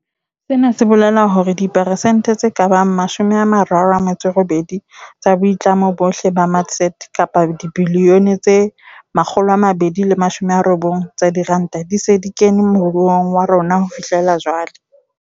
Sena se bolela hore dipersente tse ka bang mashome a mararo a metso erobedi tsa boitlamo bohle ba matsete kapa dibilione tse makgolo a mabedi le mashome a robong tsa diranta di se di kene moruong wa rona ho fihlela jwale.